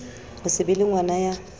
ho se be lengwana ya